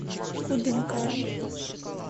кудымкаром